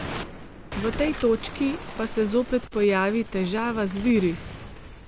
V tej točki pa se zopet pojavi težava z viri.